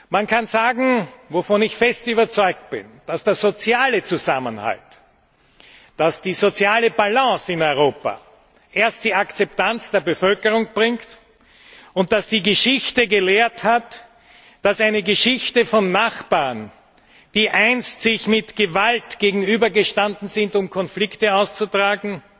Man kann sagen, wovon ich fest überzeugt bin, dass der soziale Zusammenhalt, dass die soziale Balance in Europa erst die Akzeptanz der Bevölkerung bringt und dass die Geschichte gelehrt hat, dass Nachbarn, die sich einst mit Gewalt gegenübergestanden sind, um Konflikte auszutragen,